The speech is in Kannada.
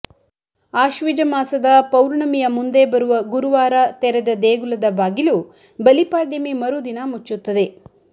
ಆಶ್ವಿಜ ಮಾಸದ ಪೌರ್ಣಮಿಯ ಮುಂದೆ ಬರುವ ಗುರುವಾರ ತೆರೆದ ದೇಗುಲದ ಬಾಗಿಲು ಬಲಿಪಾಡ್ಯಮಿ ಮರುದಿನ ಮುಚ್ಚುತ್ತದೆ